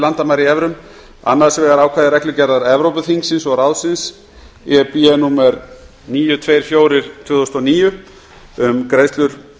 landamæri í evrum annars vegar ákvæði reglugerðar evrópuþingsins og ráðsins númer níu hundruð tuttugu og fjögur tvö þúsund og níu um greiðslur